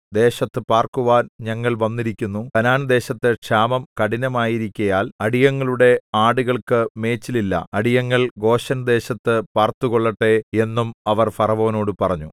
ദേശത്തു പാർക്കുവാൻ ഞങ്ങൾ വന്നിരിക്കുന്നു കനാൻദേശത്തു ക്ഷാമം കഠിനമായിരിക്കയാൽ അടിയങ്ങളുടെ ആടുകൾക്കു മേച്ചിലില്ല അടിയങ്ങൾ ഗോശെൻദേശത്തു പാർത്തുകൊള്ളട്ടെ എന്നും അവർ ഫറവോനോട് പറഞ്ഞു